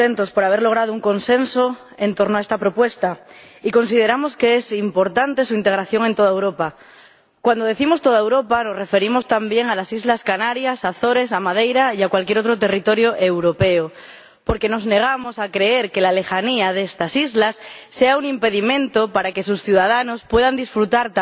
Señora Presidenta, estamos contentos por haber logrado un consenso en torno a esta propuesta y consideramos que es importante su aplicación en toda Europa. Cuando decimos toda Europa, nos referimos también a las islas Canarias, a las Azores, a Madeira y a cualquier otro territorio europeo, porque nos negamos a creer que la lejanía de estas islas sea un impedimento para que sus ciudadanos también puedan disfrutar